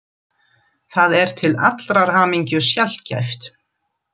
Það er til allrar hamingju sjaldgæft.